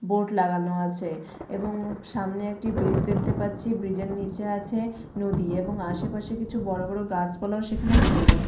board লাগানো আছে এবং সামনে একটি ব্রিজ দেখতে পাচ্ছি ব্রিজের নিচে আছে নদী এবং আশেপাশে কিছু বড় বড় গাছপালাও সেখানে দেখতে পাছ --